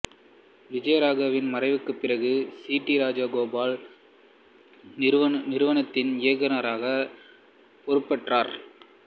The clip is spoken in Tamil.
விஜயராகவனின் மறைவுக்குப் பிறகு சி டி ராஜகோபால் நிறுவனத்தின் இயக்குநராகப் பொறுப்பேற்றார்